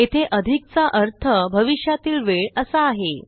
येथे अधिकचा अर्थ भविष्यातील वेळ असा आहे